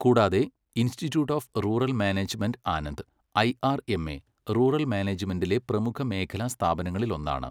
കൂടാതെ, institute of rural management Anand IRMA, rural മാനേജ്മെന്റിലെ പ്രമുഖ മേഖലാ സ്ഥാപനങ്ങളിലൊന്നാണ്.